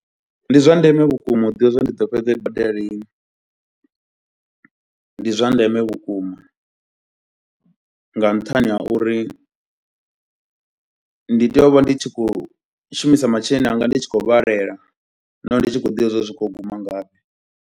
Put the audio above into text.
Ndi zwa ndeme vhukuma u ḓivha zwa uri ndi ḓo fhedza i badela lini, ndi zwa ndeme vhukuma nga nṱhani ha uri ndi tea u vha ndi tshi khou shumisa masheleni anga ndi tshi khou vhalela nahone ndi tshi khou ḓivha zwouri zwi khou yo guma ngafhi.